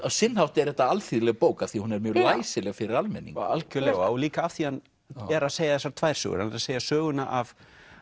sinn hátt er þetta alþýðleg bók af því hún er mjög læsileg fyrir almenning algjörlega og líka af því hann er að segja þessar tvær sögur hann er að segja söguna af